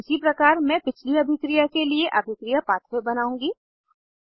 इसी प्रकार मैं पिछली अभिक्रिया के लिए अभिक्रिया पाथवे बनाउंगी